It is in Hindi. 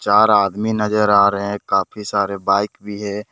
चार आदमी नजर आ रहे हैं काफी सारे बाइक भी है।